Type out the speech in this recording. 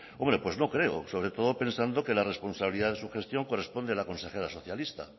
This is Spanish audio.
hombre pues no creo sobre todo pensando que la responsabilidad de su gestión corresponde a la consejera socialista